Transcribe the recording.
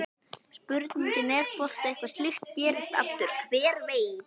Spurningin er hvort að eitthvað slíkt gerist aftur, hver veit?